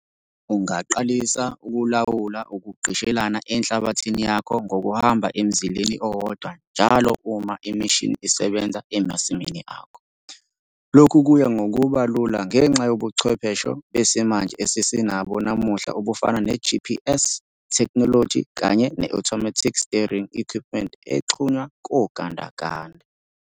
Ungaqalisa ukulawula ukugqishelana enhlabathini yakho ngokuhamba emzileni owodwa njalo uma imishini isebenza emasimini akho. Lokhu kuya ngokuba lula ngenxa yobuchwepheshe besimanje esesinabo namuhla obufana ne-GPS thekhnoloji kanye ne-automatic steering equipment exhunywa kogandaganda.